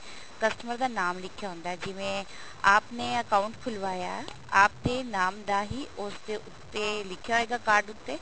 customer ਦਾ ਨਾਮ ਲਿਖਿਆ ਹੁੰਦਾ ਜਿਵੇਂ ਆਪ ਨੇ account ਖੁਲਵਾਇਆ ਆਪ ਦੇ ਨਾਮ ਦਾ ਹੀ ਉਸਦੇ ਉੱਤੇ ਲਿਖਿਆ ਹੋਏਗਾ card ਉੱਤੇ